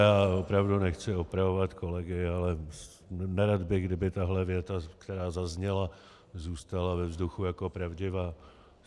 Já opravdu nechci opravovat kolegy, ale nerad bych, kdyby tahle věta, která zazněla, zůstala ve vzduchu jako pravdivá.